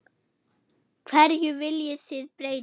Hverju viljið þið breyta?